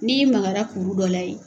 Mi magara kuru dɔ la ye.